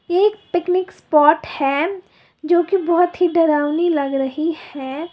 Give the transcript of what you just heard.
ये एक picnic spot है जो कि बहुत ही डरावनी लग रही है।